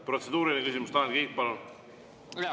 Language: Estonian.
Protseduuriline küsimus, Tanel Kiik, palun!